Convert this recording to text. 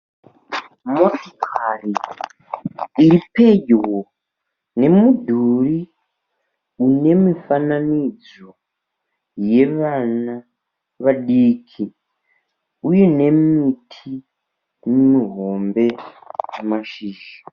Motikari iri pedyo nemudhuri une mifananidzo yevana vadiki uye nemuti muhombe une mashizha.